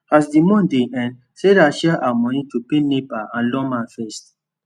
as the month dey end sarah share her money to pay nepa and lawma first